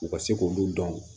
U ka se k'olu dɔn